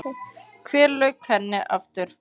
Hvenær lauk henni aftur?